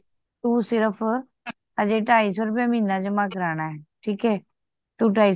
ਤੂੰ ਸਿਰਫ ਅਜੇ ਢਾਈ ਸੌ ਰੁਪਏ ਮਹੀਨਾ ਜਮਾ ਕਰਾਨਾ ਠੀਕ ਐ, ਤੂੰ ਢਾਈ ਸੌ ਰੁਪਏ